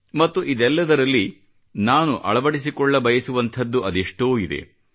ಮತ್ತು ಇದೆಲ್ಲದರಲ್ಲಿ ನಾನು ಅಳವಡಿಸಿಕೊಳ್ಳಬಯಸುವಂಥದ್ದು ಅದೆಷ್ಟೋ ಇದೆ